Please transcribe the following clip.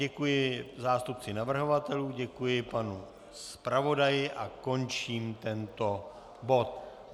Děkuji zástupci navrhovatelů, děkuji panu zpravodaji a končím tento bod.